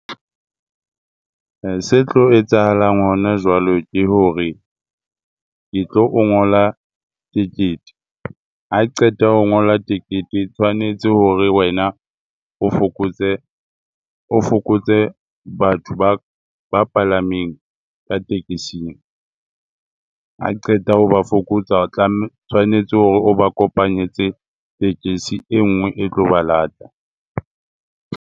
Se tlo etsahalang hona jwalo, ke hore ke tlo o ngola tekete ha qeta ho ngola tekete e tshwanetse hore wena o fokotse o fokotse batho ba ba palameng ka tekesing. Ha qeta ho ba fokotsa, o tla tshwanetse hore o ba kopanyetse tekesi e ngwe e tlo ba lata.